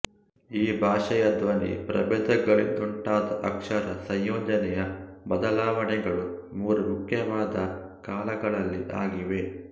ಈ ಭಾಷೆಯ ಧ್ವನಿ ಪ್ರಭೇದಗಳಿಂದುಂಟಾದ ಅಕ್ಷರ ಸಂಯೋಜನೆಯ ಬದಲಾವಣೆಗಳು ಮೂರು ಮುಖ್ಯವಾದ ಕಾಲಗಳಲ್ಲಿ ಆಗಿವೆ